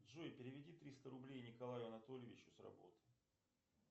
джой переведи триста рублей николаю анатольевичу с работы